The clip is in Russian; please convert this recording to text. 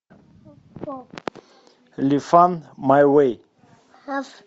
лифан майвэй